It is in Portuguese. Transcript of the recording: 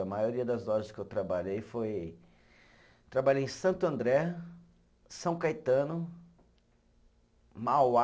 A maioria das lojas que eu trabalhei foi, trabalhei em Santo André, São Caetano, Mauá.